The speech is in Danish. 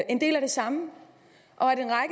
en del af det samme og